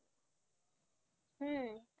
হু